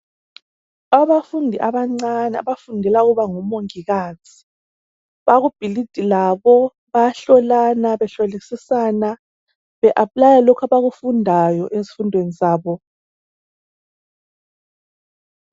Abafundi abancane abafundela ekuba ngomongikazi, bakubhilidi labo, bayahlolana behlolisisana, be aplaya lokhu abakufundayo ezifundweni zabo.